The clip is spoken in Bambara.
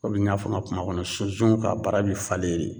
n y'a fɔ n ka kuma kɔnɔ ka bara be falen